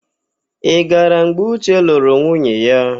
Ị gara mgbe Uche lụrụ nwunye ya?